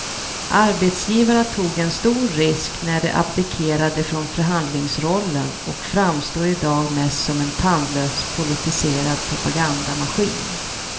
Arbetsgivarna tog en stor risk när de abdikerade från förhandlingsrollen och framstår i dag mest som en tandlös politiserad propagandamaskin.